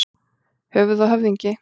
Höfuð og höfðingi.